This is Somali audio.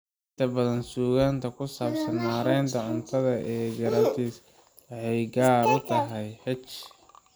Inta badan suugaanta ku saabsan maaraynta cuntada ee gastritis waxay gaar u tahay H.